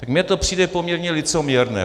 Tak mně to přijde poměrně licoměrné.